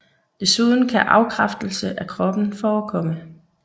Desuden kan afkræftelse af kroppen forekomme